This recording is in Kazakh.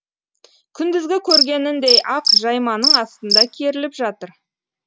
күндізгі көргеніндей ақ жайманың астында керіліп жатыр